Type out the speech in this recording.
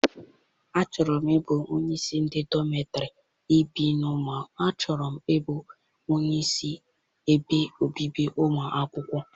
Achọrọ m ịbụ onyeisi ebe obibi ụmụ akwụkwọ.